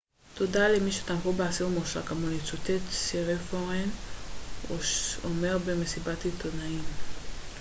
תודה למי שתמכו באסיר מורשע כמוני צוטט סיריפורן אומר במסיבת עיתונאים